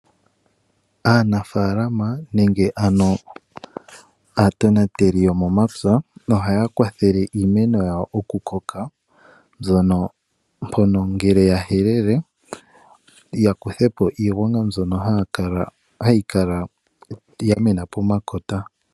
Aanafaalama nenge ano aatonateli yomomapya ohaya kwathele iimeno yawo okukoka mpono ngele ya helele haya kutha po iigwanga mbyono hayi kala ya mena pomakota.